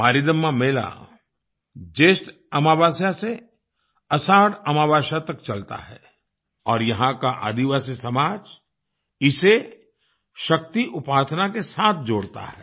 मारीदम्मा मेला जयेष्ठ अमावस्या से आषाढ़ अमावस्या तक चलता है और यहाँ का आदिवासी समाज इसे शक्ति उपासना के साथ जोड़ता है